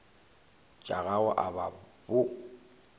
tša gago a ba bo